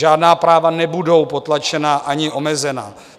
Žádná práva nebudou potlačena ani omezena.